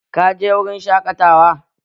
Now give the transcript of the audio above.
Ka je wurin shaƙatawa?